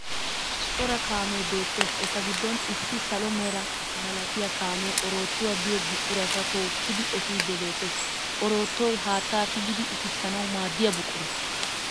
Cora kaamee beettes eta giddon issi salo mera malatiya kaamee oroottuwa giyo buquraa tookkidi efiiddi beettes. Oroottoy haatta tigidi utissanawu maaddiya buqura.